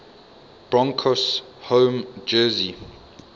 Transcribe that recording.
broncos home jersey